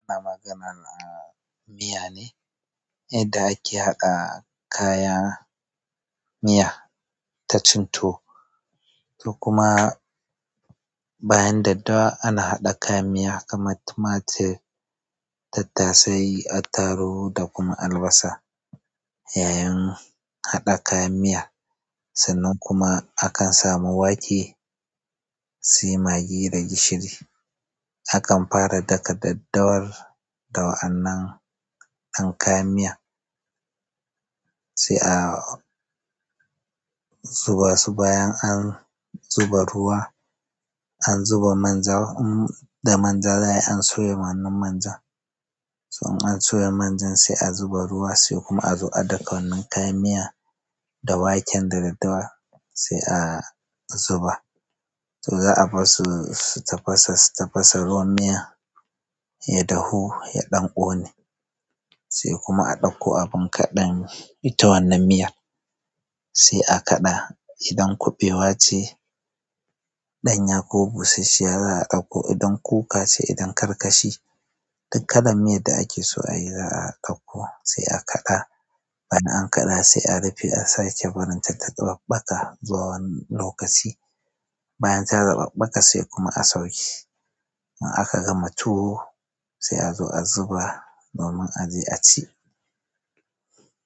Ana maganan a miya ne, yadda ake haɗa kaya miya ta cinto. Kuma bayan daddawa ana haɗa kayan miya kama tumatir tattasai attarugu da kuma albasa. Yayin haɗa kayan miya sannan kuma akan samu wake, sai magi da gishiri. Akan fara daka daddawar da wa annan an kayan miya sai a zuba su bayan an zuba ruwa, an zuba manja im da manja za ai an soya wannan manjan. To in an soya manjan sai a zuba ruwa sai kuma a zo a ɗauka wannan kayan miya da waken da daddawar sai a zuba. To za a bassu su tafasa su tafasa ruwan miya ya dahu, ya ɗan ƙone sai kuma a ɗauko abin kaɗan ita wannan miyar. Sai a kaɗa idan kuɓewa ce, ɗanya ko busasshiya za a ɗauko idan kuka ce idan karkashi. Duk kalan miyadda ake so ayi za a ɗauko sai a kaɗa. Ban an kaɗa sai a rufe a sake barinta ta taɓaɓɓaka zuwa wani lokaci. Bayan ta zaɓaɓɓaka sai kuma a sauke. In aka gama tuwo sai a zo a zuba domin a je a ci.